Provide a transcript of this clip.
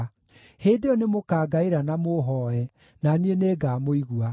“Hĩndĩ ĩyo nĩmũkangaĩra na mũũhooe, na niĩ nĩngamũigua.